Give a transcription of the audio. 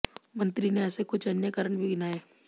मंत्री ने ऐसे कुछ अन्य कारण भी गिनाये